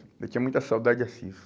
Eu tinha muita saudade de Assis.